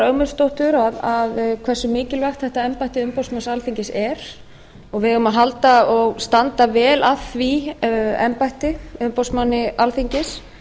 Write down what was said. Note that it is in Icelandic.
ögmundsdóttur hversu mikilvægt þetta embætti umboðsmanns alþingis er og við eigum að standa vel að því embætti umboðsmanni alþingis